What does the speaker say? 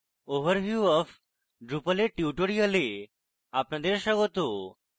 overview of drupal এর tutorial আপনাদের স্বাগত